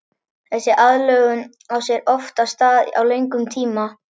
Þessi aðlögun á sér oft stað á löngum tíma.